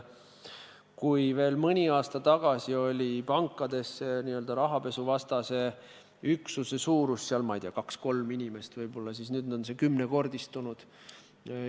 Kui veel mõni aasta tagasi oli pankades rahapesuvastase üksuse suurus, ma ei tea, võib-olla kaks-kolm inimest, siis nüüd on nende arv kümnekordistunud.